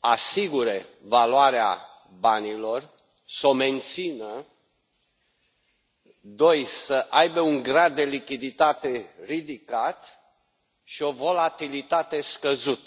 asigure valoarea banilor, să o mențină, să aibă un grad de lichiditate ridicat și o volatilitate scăzută.